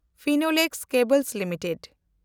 Finolex cables limited